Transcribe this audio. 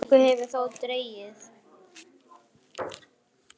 Úr slíku hefur þó dregið.